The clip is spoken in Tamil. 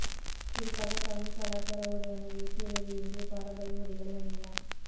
குறிப்பாக தமிழ் கலாச்சார உடையான வேட்டி அல்லது இந்திய பாரம்பரிய உடைகளை அணியலாம்